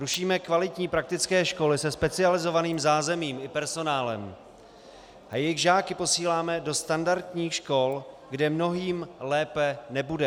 Rušíme kvalitní praktické školy se specializovaným zázemím i personálem a jejich žáky posíláme do standardních škol, kde mnohým lépe nebude.